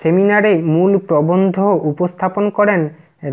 সেমিনারে মূল প্রবন্ধ উপস্থাপন করেন